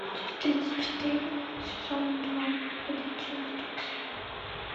часть тридцать четыре сезона два ходячие мертвецы